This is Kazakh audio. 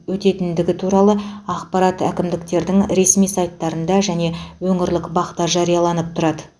өтетіндігі туралы ақпарат әкімдіктердің ресми сайттарында және өңірлік бақ та жарияланып тұрады